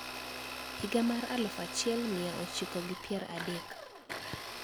Higa mar aluf achiel mia ochiko gi pier adek